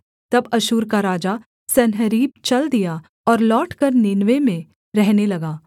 तब अश्शूर का राजा सन्हेरीब चल दिया और लौटकर नीनवे में रहने लगा